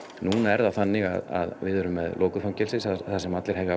núna er það þannig að við erum með lokuð fangelsi þar sem allir hefja